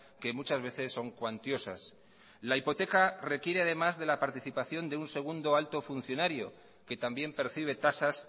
que muchas veces son cuantiosas la hipoteca requiere además de la participación de un segundo alto funcionario que también percibe tasas